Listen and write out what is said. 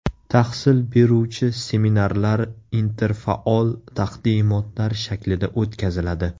Tahsil beruvchi seminarlar interfaol taqdimotlar shaklida o‘tkaziladi.